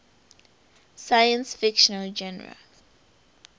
science fiction genre